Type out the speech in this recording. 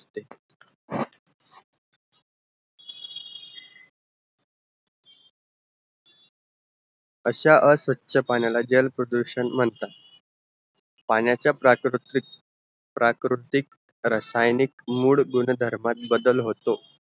असा अस्वछ पाण्या जल प्रदूषण मानतात पाण्याचा प्राकृती प्राकृतीक रसायनिक मुड गुण धर्मात बदल होतो